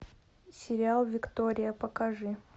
сериал виктория покажи